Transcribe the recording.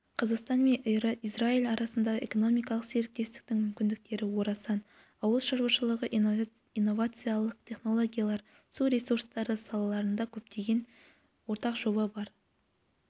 қазақстан мен израиль арасындағы экономикалық серіктестіктің мүмкіндіктері орасан ауыл шаруашылығы инновациялық технологиялар су ресурстары салаларында көптеген ортақ жоба бар